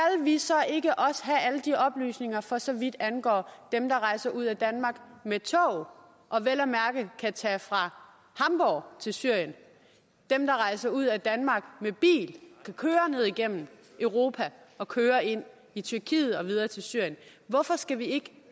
vi så ikke også have alle de oplysninger for så vidt angår dem der rejser ud af danmark med tog og vel at mærke kan tage fra hamborg til syrien dem der rejser ud af danmark med bil kan køre ned gennem europa og køre ind i tyrkiet og videre til syrien hvorfor skal vi ikke